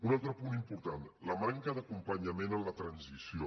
un altre punt important la manca d’acompanyament en la transició